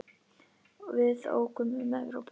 Við ókum um Evrópu.